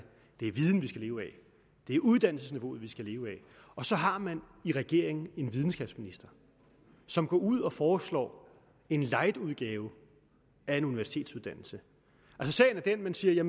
det er viden vi skal leve af at det er uddannelsesniveauet vi skal leve af og så har man i regeringen en videnskabsminister som går ud og foreslår en lightudgave af en universitetsuddannelse sagen er den at man siger